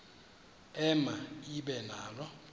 ema ibe nalo